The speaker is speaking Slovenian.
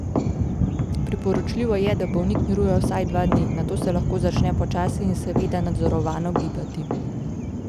Priporočljivo je, da bolnik miruje vsaj dva dni, nato se lahko začne počasi in seveda nadzorovano gibati.